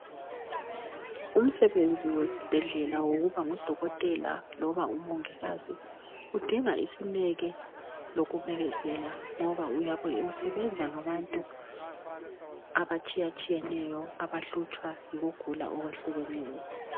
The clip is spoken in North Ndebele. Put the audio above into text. Umsebenzi wesibhedlela wokuba ngudokotela loba umongikazi udinga isineke lokubekezela. Ngoba uyabe usebenza ngabantu abatshayatshiyeneyo abahlutshwa yikugula okwehlukeneyo.